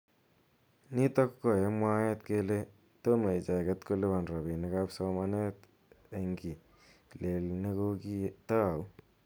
Nitok ko eng mwaet kele teme icheket kolipan robinik ab somanet eng kii lel nekokitau.